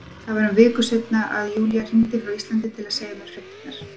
Það var um viku seinna að Júlía hringdi frá Íslandi til að segja mér fréttirnar.